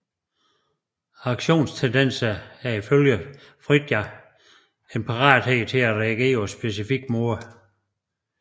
Aktionstendenser er i følge Frijda en parathed til at reagere på specifikke måder